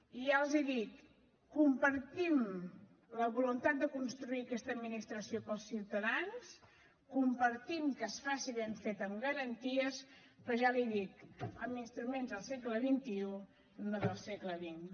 i ja els hi dic compartim la voluntat de construir aquesta administració per als ciutadans compartim que es faci ben feta amb garanties però ja l’hi dic amb instruments del segle xxi no del segle xx